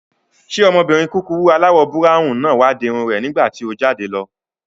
Ṣé ọmọbìnrin kúkurú aláwọ̀ búráwùn náà wá di irun rẹ̀ nígbàtí o jáde lọ?